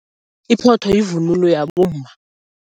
Iphotho yivunulo yabomma.